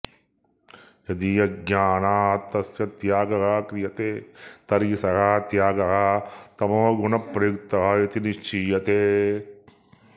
यदि अज्ञानात् तस्य त्यागः क्रियते तर्हि सः त्यागः तमोगुणप्रयुक्तः इति निश्चीयते